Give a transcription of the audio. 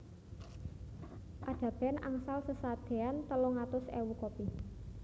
Ada band angsal sesadean telung atus ewu copy